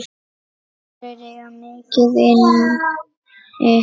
Aðrir eiga mikið inni.